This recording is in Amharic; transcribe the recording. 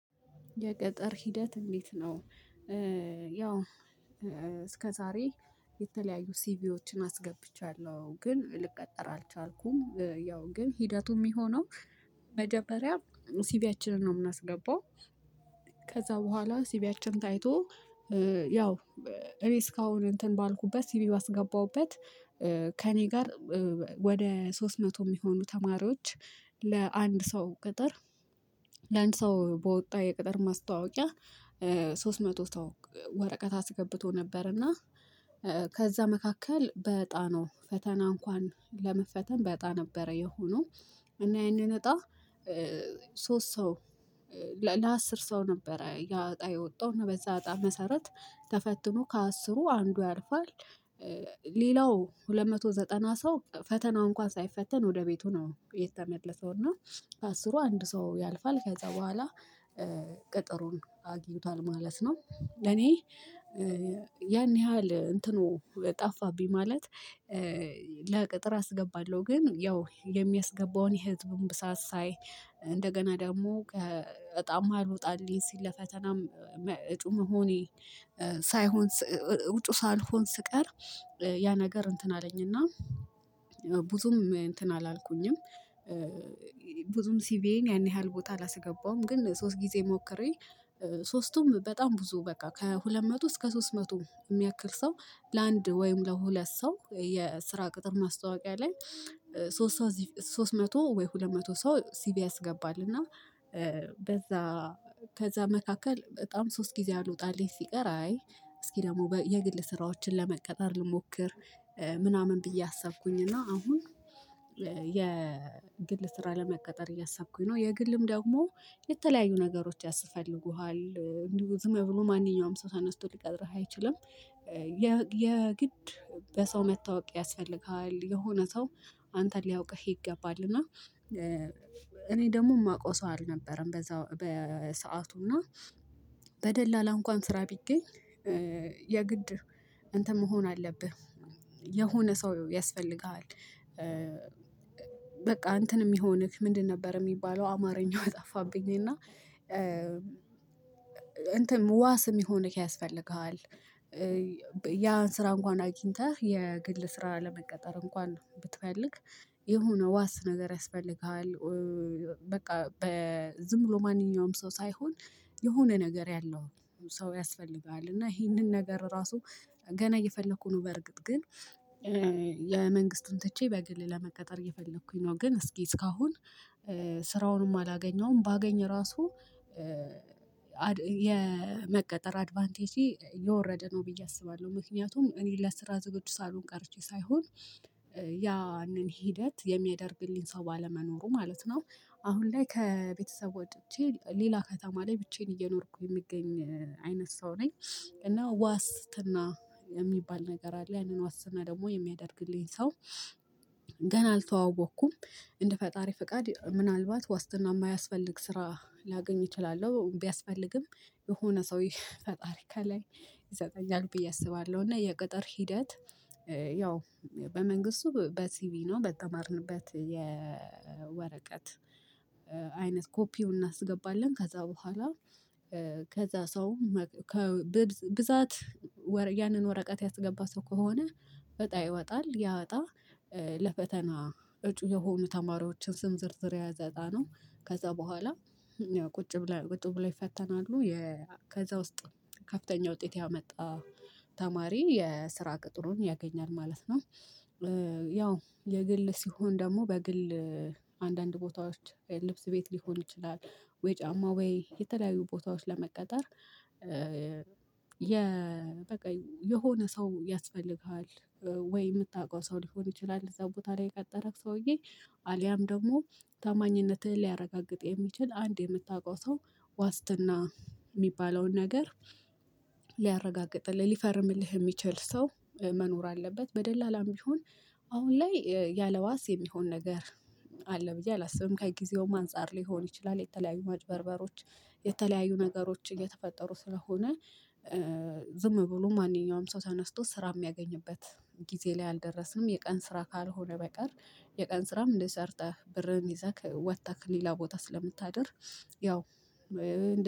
የቅጥር ሂደት እንዴት ነው? ያው እስከ ዛሬ የተለያዩ ሲቪዎችን አስገብቻለሁ ግን ልቀጠር አልቻልኩም። ያው ግን ሂደቱ የሚሆነው መጀመሪያ ሲቪያችንን ነው የምናስገባው። ከዛ በኋላ ሲቪያችን ታይቶ ያው እኔ እስካሁን እንትን ባልኩበት ሲቪ ባስገባሁበት። ከእኔ ጋር ወደ ሶስት መቶ የሚሆኑ ተማሪዎች ለአንድ ሰው ቅጥር። ለአንድ ሰው በወጣ የቅጥር ማስታወቂያ ሶስት መቶ ሰው ወረቀት አስገብቶ ነበር። እና ከዛ መካከል በእጣ ፈተና እንኳን ለመፈተን በእጣ ነበረ የሆነው። እና ያንን እጣ ሶስት ሰው ለአስር ሰው ነበረ ያ እጣ የወጣው እና በዛ እጣ መሰረት ተፈትኖ ከአስሩ አንዱ ያልፋል። ሌላው ሁለት መቶ ዘጠና ሰው ፈተናውን እንኳን ሳይፈተን ወደ ቤቱ ነው የተመለሰው። እና ከአስሩ አንድ ሰው ያልፋል ከዛ በኋላ ቅጥሩን አግኝቷል ማለት ነው። ለኔ ያን ያህል እንትኑ ጠፋብኝ። ማለት ለቅጥር አስገባለሁ ግን ያው የሚያስገባውን የህዝቡን ብዛት ሳይ። እንደገና ደግሞ ዕጣም አልወጣልኝ ሲል ለፈተናም እጩ መሆኔ ሳይሆን እጩ ሳልሆን ስቀር ያ ነገር እንትን አለኝና ብዙም እንትን አላልኩኝም። ብዙም ሲቪዬን ያን ያህል ቦታ አላስገባሁም ግን ሶስት ጊዜ ሞክሬ። ሶስቱም በጣም ብዙ በቃ ከሁለት መቶ እስከ ሶስት መቶ የሚያክል ሰው ለአንድ ወይም ለሁለት ሰው የስራ ቅጥር ማስታወቂያ ላይ ሶስት ሰው ሶስት መቶ ወይ ሁለት መቶ ሰው ሲቪ ያስገባል። እና በዛ ከዛ መካከል በጣም ሶስት ጊዜ አልወጣልኝ ሲቀር አይ እስኪ ደግሞ የግል ስራዎችን ለመቀጠር ልሞክር። ምናምን ብዬ አሰብኩኝ እና አሁን የግል ስራ ለመቀጠር እያሰብኩኝ ነው። የግልም ደግሞ የተለያዩ ነገሮች ያስፈልጉሃል። ዝም ብሎ ማንኛውም ሰው ተነስቶ ሊቀጥርህ አይችልም። የግድ በሰው መታወቅ ያስፈልግሀል የሆነ ሰው አንተን ሊያውቅህ ይገባል። እና እኔ ደግሞ የማውቀው ሰው አልነበረም። በዛ በሰአቱ እና በደላላ እንኳን ስራ ቢገኝ የግድ እንትን መሆን አለብህ። የሆነ ሰው ያስፈልግሃል። በቃ እንትን የሚሆንክ ምንድን ነበር የሚባለው አማርኛው ጠፋብኝ። እና እንትን ዋስ የሚሆንህ ያስፈልግሃል። ያን ስራ እንኳን አግኝተህ የግል ስራ ለመቀጠር እንኳን ብትፈልግ የሆነ ዋስ ነገር ያስፈልግሃል። በቃ በ ዝም ብሎ ማንኛውም ሰው ሳይሆን የሆነ ነገር ያለው ሰው ያስፈልግሃል እና ይሄንን ነገር ራሱ ገና እየፈለግኩ ነው። በእርግጥ ግን የመንግስቱን ትቼ በግል ለመቀጠር እየፈለኩኝ ነው። ግን እስኪ እስካሁን ስራውንም አላገኘውም ባገኝ ራሱ የመቀጠር አድቫንቴጄ የወረደ ነው ብዬ አስባለሁ። ምክንያቱም እኔ ለስራ ዝግጁ ሳልሆን ቀርቼ ሳይሆን ያንን ሂደት የሚያደርግልኝ ሰው ባለመኖሩ ማለት ነው። አሁን ላይ ከቤተሰብ ወጥቼ ሌላ ከተማ ላይ ብቻዬን እየኖርኩ የምገኝ አይነት ሰው ነኝ። እና ዋስትና የሚባል ነገር አለ ያንን ዋስትና ደግሞ የሚያደርግልኝ ሰው ገና አልተዋወቅኩም። እንደ ፈጣሪ ፍቃድ ምናልባት ዋስትና የማያስፈልግ ስራ ላገኝ እችላለሁ ቢያስፈልግም። የሆነ ሰው ፈጣሪ ከላይ ይሰጠኛል ብዬ አስባለሁ። እና የቅጥር ሂደት። ያው በመንግስቱ በሲቪ ነው በተማርንበት የወረቀት አይነት ኮፒውን እናስገባለን። ከዛ በኋላ ከዛ ሰው ብዛት ያንን ወረቀት ያስገባ ሰው ከሆነ እጣ ይወጣል። ያ እጣ ለፈተና እጩ የሆኑ ተማሪዎችን ስም ዝርዝር ያያዘ እጣ ነው። ከዛ በኋላ ያው ቁጭ ብለው ቁጭ ብለው ይፈተናሉ። ከዛ ውስጥ ከፍተኛ ውጤት ያመጣ ተማሪ የስራ ቅጥሩን ያገኛል ማለት ነው። ያው የግል ሲሆን ደግሞ በግል አንዳንድ ቦታዎች ልብስ ቤት ሊሆን ይችላል። ወይ ጫማ ወይ የተለያዩ ቦታዎች ለመቀጠር። የ በቃ የሆነ ሰው ያስፈልግሃል። ወይ የምታውቀው ሰው ሊሆን ይችላል እዛ ቦታ ላይ የቀጠረክ ሰውዬ አልያም ደግሞ ታማኝነትህን ሊያረጋግጥ የሚችል አንድ የምታውቀው ሰው ዋስትና የሚባለውን ነገር። ሊያረጋግጥልህ ሊፈርምልህ የሚችል ሰው መኖር አለበት። በደላላም ቢሆን አሁን ላይ ያለዋስ የሚሆን ነገር አለ ብዬ አላስብም። ከጊዜውም አንፃር ሊሆን ይችላል የተለያዩ ማጨበርበሮች የተለያዩ ነገሮችን እየተፈጠሩ ስለሆነ። ዝም ብሎ ማንኛውም ሰው ተነስቶ ስራ የሚያገኝበት ጊዜ ላይ አልደረስንም። የቀን ስራ ካልሆነ በቀር። የቀን ስራም ሰርተህ ብርህን ይዘህ ወጥተህ ሌላ ቦታ ስለምታድር። ያው